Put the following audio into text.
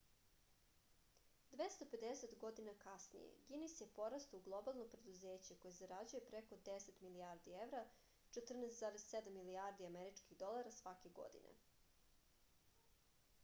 двеста педесет година касније гинис је порастао у глобално предузеће које зарађује преко 10 милијарди евра 14,7 милијарди америчких долара сваке године